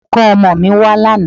Olùkọ́ ọmọ mi wá lánàá